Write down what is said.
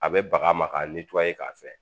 A bɛ baga ma ka k'a fɛ